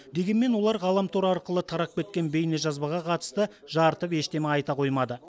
дегенмен олар ғаламтор арқылы тарап кеткен бейнежазбаға қатысты жарытып ештеңе айта қоймады